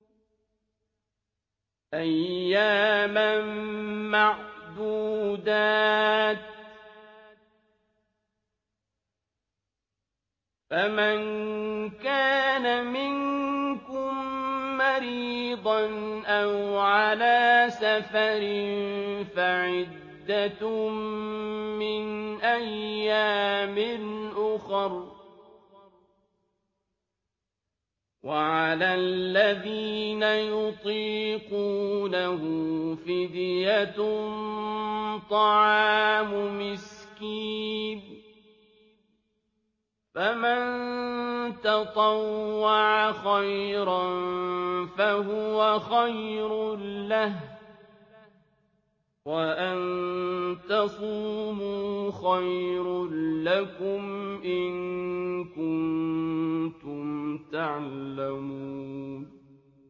أَيَّامًا مَّعْدُودَاتٍ ۚ فَمَن كَانَ مِنكُم مَّرِيضًا أَوْ عَلَىٰ سَفَرٍ فَعِدَّةٌ مِّنْ أَيَّامٍ أُخَرَ ۚ وَعَلَى الَّذِينَ يُطِيقُونَهُ فِدْيَةٌ طَعَامُ مِسْكِينٍ ۖ فَمَن تَطَوَّعَ خَيْرًا فَهُوَ خَيْرٌ لَّهُ ۚ وَأَن تَصُومُوا خَيْرٌ لَّكُمْ ۖ إِن كُنتُمْ تَعْلَمُونَ